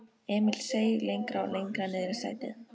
Emil seig lengra og lengra niðrí sætið.